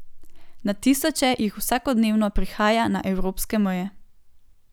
Na tisoče jih vsakodnevno prihaja na evropske meje.